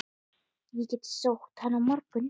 Ég get sótt hann á morgun.